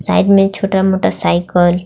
Side में छोटा motorcycle .